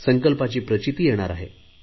संकल्पाची प्रचिती येणार आहे